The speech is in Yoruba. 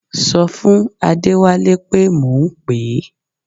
Ṣọ fún Adẹ́wálé pé mò ń pè é